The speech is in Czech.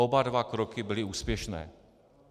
Oba dva kroky byly úspěšné.